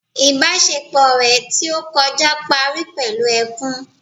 Ìbásepọ̀ rẹ̀ tí ó kọjá parí pẹ̀lú ẹkún